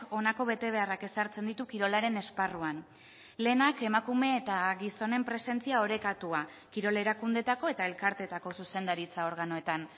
honako betebeharrak ezartzen ditu kirolaren esparruan lehenak emakume eta gizonen presentzia orekatua kirol erakundeetako eta elkarteetako zuzendaritza organoetan